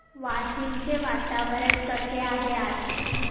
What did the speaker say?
वाशिम चे वातावरण कसे आहे आज